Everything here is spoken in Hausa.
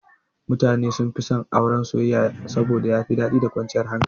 Mutane sunfi son Auren soyayya saboda yafi daɗi da kwanciyar hankali.